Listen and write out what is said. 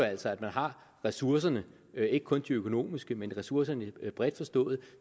altså at man har ressourcerne ikke kun de økonomiske men ressourcerne bredt forstået